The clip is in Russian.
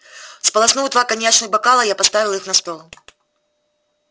сполоснув два коньячных бокала я поставил их на стол